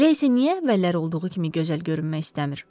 Elə isə niyə əvvəllər olduğu kimi gözəl görünmək istəmir?